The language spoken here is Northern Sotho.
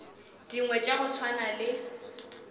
dingwe tša go swana le